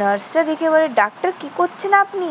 নার্সটা দেখে বলে, ডাক্তার কি করছেন আপনি?